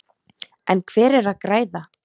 En hver er að græða?